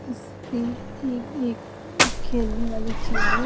इस पे ये ये अं खेलने वाले चीज है।